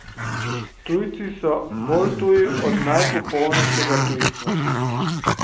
Tujci so, bolj tuji od najpopolnejšega tujstva.